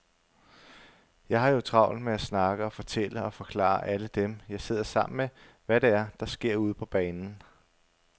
Jeg har jo travlt med at snakke og fortælle og forklare alle dem, jeg sidder sammen med, hvad det er, der sker ude på banen.